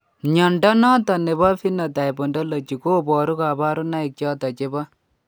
Mnyondo noton nebo Phenotype Ontology koboru kabarunaik choton chebo